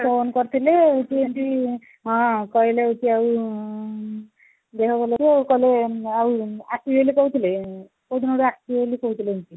phone କରିଥିଲେ ହଉଚି ଏମିତି ହଁ କହିଲେ ହଉଚି ଆଉ ଉଁ ଦେହ ଭଲ ଆଉ କହିଲେ ଆଉ ଆସିବେ ବୋଲି କହୁଥିଲେ କୋଉ ଦିନ ଗୋଟେ ଆସିବେ ବୋଲି କହୁଥିଲେ ଏମିତି